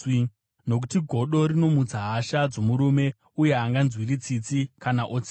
nokuti godo rinomutsa hasha dzomurume, uye haanganzwiri tsitsi kana otsiva.